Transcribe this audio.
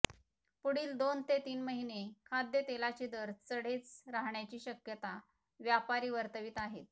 पुढील दोन ते तीन महिने खाद्यतेलाचे दर चढेच राहण्याची शक्यता व्यापारी वर्तवित आहेत